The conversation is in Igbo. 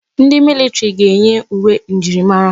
Ndi militiri ga na-eyi uwe njirimara.